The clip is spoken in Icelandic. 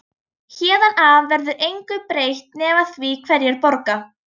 Héðan af verður engu breytt nema því hverjir borga.